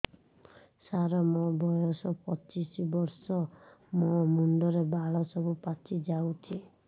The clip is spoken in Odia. ସାର ମୋର ବୟସ ପଚିଶି ବର୍ଷ ମୋ ମୁଣ୍ଡରେ ବାଳ ସବୁ ପାଚି ଯାଉଛି